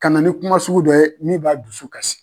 Ka na ni kuma sugu dɔ ye min b'a dusu kasi.